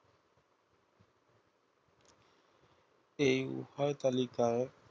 এই উভয় তালিকার